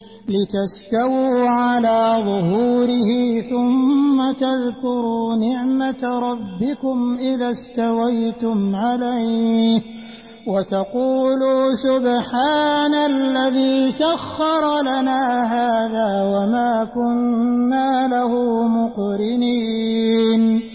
لِتَسْتَوُوا عَلَىٰ ظُهُورِهِ ثُمَّ تَذْكُرُوا نِعْمَةَ رَبِّكُمْ إِذَا اسْتَوَيْتُمْ عَلَيْهِ وَتَقُولُوا سُبْحَانَ الَّذِي سَخَّرَ لَنَا هَٰذَا وَمَا كُنَّا لَهُ مُقْرِنِينَ